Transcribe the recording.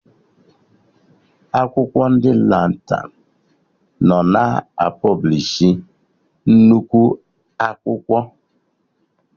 Akwụkwọ ndị Lantan nọ na pọblishi nnukwu akwụkwọ